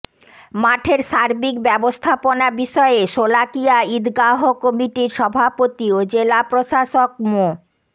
মাঠের সার্বিক ব্যবস্থাপনা বিষয়ে শোলাকিয়া ঈদগাহ কমিটির সভাপতি ও জেলা প্রশাসক মো